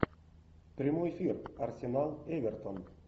прямой эфир арсенал эвертон